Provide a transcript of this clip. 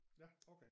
Ja okay